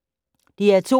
DR2